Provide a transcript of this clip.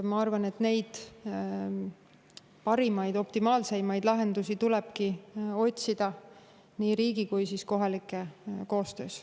Ma arvan, et neid parimaid, optimaalseimaid lahendusi tulebki otsida nii riigi kui ka kohalike koostöös.